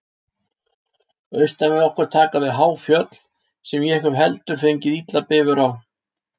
Austan við okkur taka við há fjöll, sem ég hef heldur fengið illan bifur á.